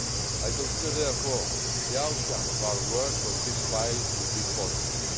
I consider, therefore, the outcome of our work on this file to be positive.